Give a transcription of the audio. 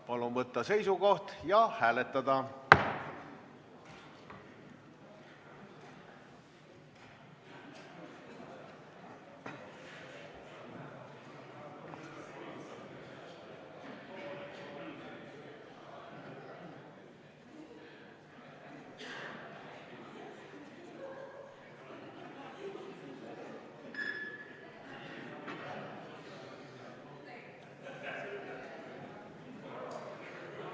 Palun võtta seisukoht ja hääletada!